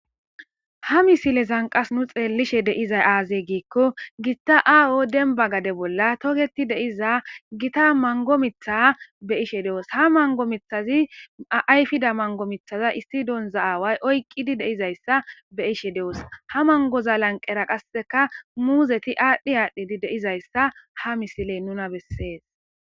Ha misileza nu xelishe dizay azee gikon gita ago demba gade bolla toketi de'iza gita mango mitha betishe doos ha mango mithazi ayfido mango mithaza issi awari oykidi doos ha mangoza lanqeraputeti adhi adhi pitidi de'izaysa ha misiley nuna besses.